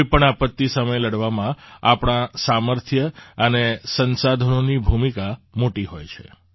કોઈ પણ આપત્તિ સામે લડવામાં આપણાં સામર્થ્ય અને સંસાધનોની ભૂમિકા મોટી હોય છે